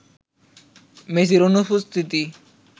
মেসির অনুপস্থিতি